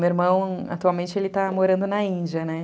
Meu irmão, atualmente, ele está morando na Índia, né?